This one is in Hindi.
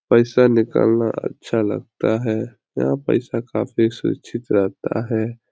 पैसा निकालना अच्छा लगता है यहाँ पैसा काफी सुरक्षित रहता है।